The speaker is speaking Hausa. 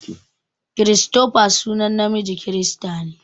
Christopher sunan namiji kirista ne.